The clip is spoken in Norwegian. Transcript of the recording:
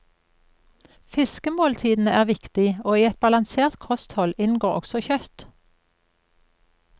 Fiskemåltidene er viktig og i et balansert kosthold inngår også kjøtt.